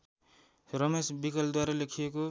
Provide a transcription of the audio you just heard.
रमेश विकलद्वारा लेखिएको